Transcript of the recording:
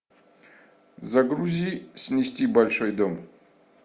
загрузи снести большой дом